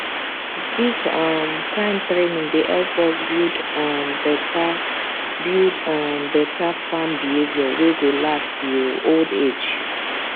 this um kind training dey help us build um better build um better farm behavior wey go last till old age